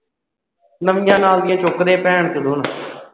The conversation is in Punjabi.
ਨਵੀਆਂ ਨਾਲ ਦੀਆਂ ਚੁੱਕਦੇ